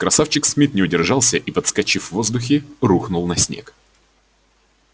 красавчик смит не удержался и подскочив в воздухе рухнул на снег